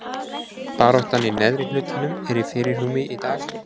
Baráttan í neðri hlutanum er í fyrirrúmi í dag.